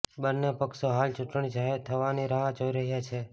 બન્ને પક્ષો હાલ ચૂંટણી જાહેર થવાની રાહ જોઈ રહ્યાં છે